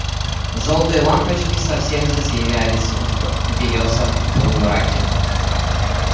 жёлтые лампочки совсем затерялись в белёсом полумраке